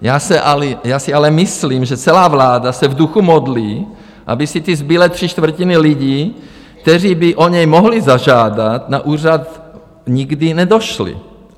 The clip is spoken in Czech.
Já si ale myslím, že celá vláda se v duchu modlí, aby si ty zbylé tři čtvrtiny lidí, kteří by o ně mohly zažádat, na úřad nikdy nedošly.